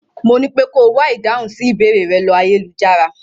Mo nípé ko wá ìdáhùn sí ìbéèrẹ̀ rẹ̀ ló ayélujára.